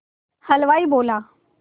हलवाई बोला